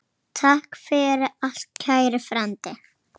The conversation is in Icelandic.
Takk fyrir allt, kæri frændi.